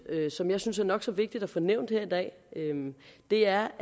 og som jeg synes er nok så vigtigt at få nævnt her i dag er